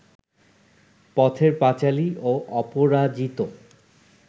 পথের পাঁচালী ও অপরাজিত